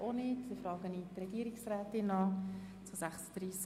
Deshalb erteile ich Regierungsrätin Egger das Wort.